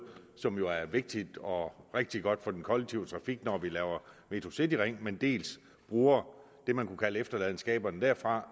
som jo er vigtigt og rigtig godt for den kollektive trafik når vi laver metrocityringen dels bruger det man kunne kalde efterladenskaberne derfra